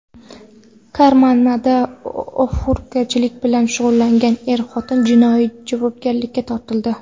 Karmanada og‘ufurushlik bilan shug‘ullangan er-xotin jinoiy javobgarlikka tortildi .